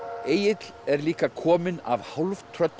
Egill er líka kominn af